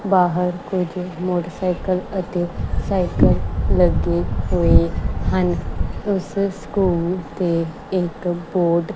ਬਾਹਰ ਕੁਝ ਮੋਟਰਸਾਈਕਲ ਅਤੇ ਸਾਈਕਲ ਲੱਗੇ ਹੋਏ ਹਨ ਉਸ ਸਕੂਲ ਤੇ ਇਕ ਬੋਰਡ --